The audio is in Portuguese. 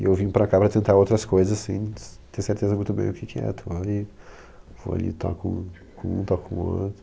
E eu vim para cá para tentar outras coisas sem ter certeza muito bem o que que é. Estou ali, vou ali, toco um todo com um, toco com outro.